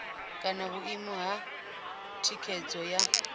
kana vhuimo ha thikhedzo ya